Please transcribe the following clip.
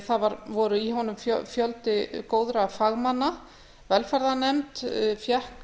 það var í honum fjöldi góðra fagmanna velferðarnefnd fékk